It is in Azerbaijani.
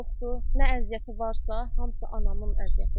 Nə əziyyəti varsa, hamısı anamın əziyyətidir.